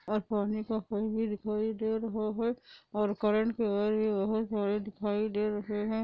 और पानी का पाइप भी दिखाई दे रहा है और करंट के वायर भी बहुत सारे दिखाई दे रहे हैं |